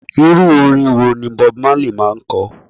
Irú orin wo ni bob marley máa ń ko?